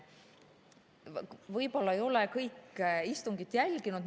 Võib-olla ei ole kõik istungit jälginud.